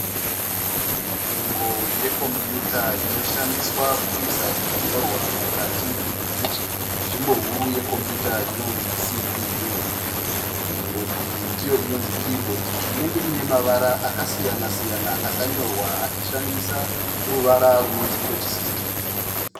Nhengo yekombuyuta inoshandiswa kuisa zvinyorwa mukati menzvimbo huru yekombuyuta inonzi CPU. Nhengo iyi ndiyo inonzi kiibhodhi inenge iine mavara akasiyana siyana akanyorwa achishandisa ruvara runonzi kweti sisitimu.